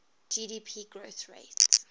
gdp growth rate